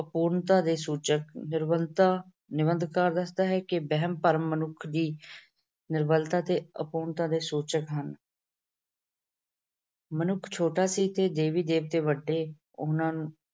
ਅਪੂਰਨਤਾ ਦੇ ਸੂਚਕ- ਨਿਰਬਲਤਾ ਨਿਬੰਧਕਾਰ ਕਹਿੰਦਾ ਹੈ ਕਿ ਵਹਿਮ-ਭਰਮ ਮਨੁੱਖ ਦੀ ਨਿਰਬਲਤਾ ਤੇ ਅਪੂਰਨਤਾ ਦੇ ਸੂਚਕ ਹਨ। ਮਨੁੱਖ ਛੋਟਾ ਸੀ ਤੇ ਦੇਵੀ ਦੇਵਤੇ ਵੱਡੇ, ਉਹਨਾਂ